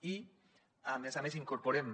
i a més a més incorporem